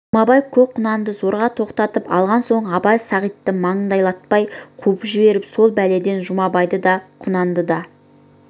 жұмабай көк құнанды зорға тоқтатып алған соң абай сағитты маңайлатпай қуып жіберіп сол бәледен жұмабайды да құнанды да